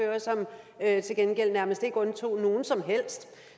havde til gengæld nærmest ikke undtog nogen som helst